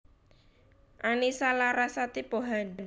Annisa Larasati Pohan